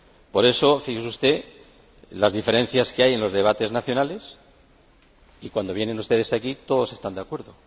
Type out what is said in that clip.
Por eso, fíjese usted en las diferencias que hay en los debates nacionales y, cuando vienen ustedes aquí, todos están de acuerdo.